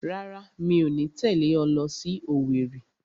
Rárá, mi ò ní tẹ̀lé ọ lọ sí Owerri